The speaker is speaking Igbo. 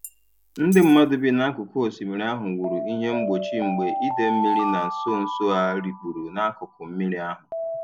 Ndị mmadụ bi n'akụkụ osimiri ahụ wuru ihe mgbochi mgbe idei mmiri na nso nso a rikpuru n'akụkụ mmiri ahụ.